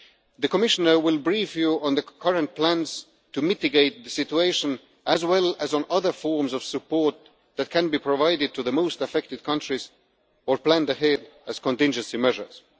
The Commissioner will brief you on the current plans to mitigate the situation, as well as on other forms of support that can be provided to the most affected countries or planned ahead as contingency measures.